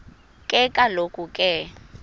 ke kaloku ke